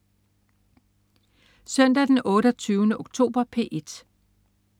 Søndag den 28. oktober - P1: